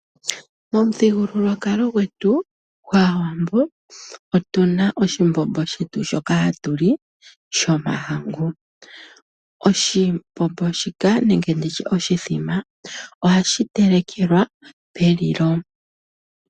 Momuthigululwakalo gwetu gwaawambo otuna oshimbombo shetu shoka hatu li shomahangu, oshimbombo shika nenge nditye oshithima ohashi telekelwa pelilo